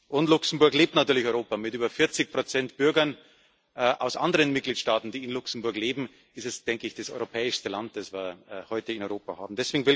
Und Luxemburg lebt natürlich Europa Mit über 40 Bürgern aus anderen Mitgliedstaaten, die in Luxemburg leben, ist es wohl das europäischste Land, das wir heute in Europa haben.